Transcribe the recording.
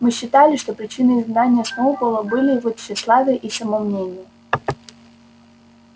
мы считали что причиной изгнания сноуболла были его тщеславие и самомнение